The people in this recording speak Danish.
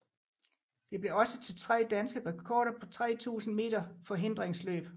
Det blev også til tre danske rekorder på 3000 meter forhindringsløb